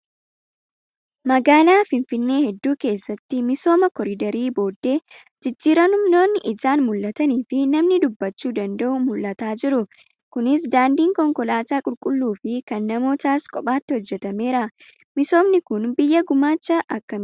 Magaalaa Finfinnee hedduu keessatti misooma koriidariin booddee jijjiiramoonni ijaan mul'atanii fi namni dubbachuu danda'u mul'ataa jiru. Kunis daandiin konkolaataa qulqulluu fi kan namootaas kophaatti hojjatameera. Misoomni kun biyyaa gumaacha akkamii qaba?